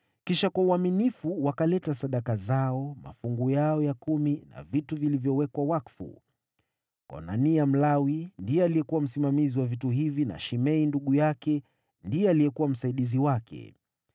Kisha kwa uaminifu wakaleta sadaka zao, mafungu yao ya kumi na vitu vilivyowekwa wakfu. Konania Mlawi, ndiye alikuwa msimamizi wa vitu hivi na Shimei ndugu yake ndiye alikuwa msaidizi wake.